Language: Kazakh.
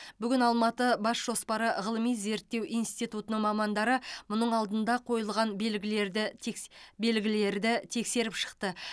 бүгін алматыбасжоспары ғылыми зерттеу институтының мамандары мұның алдында қойылған белгілерді текс белгілерді тексеріп шықты